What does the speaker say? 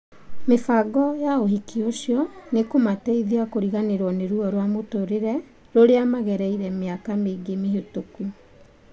Mĩbango ya ũhiki ũcio nĩkũmateithia kũriganĩrũo nĩ ruo rwa mũtũrĩre rũrĩa magereire mĩaka mĩingĩ mĩhĩtũku.